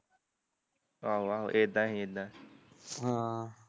ਆਹੋ ਏਦਾਂ ਈ ਸੀ ਏਦਾਂ ਹਮ